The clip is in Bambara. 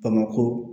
Bamakɔ